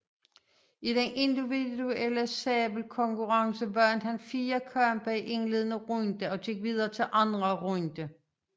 I den individuelle sabelkonkurrence vandt han fire kampe i indledende runde og gik videre til anden runde